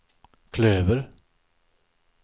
klöver